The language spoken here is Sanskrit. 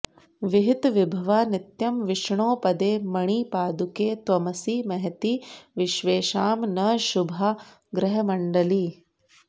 विहितविभवा नित्यं विष्णोः पदे मणिपादुके त्वमसि महति विश्वेषां नः शुभा ग्रहमण्डली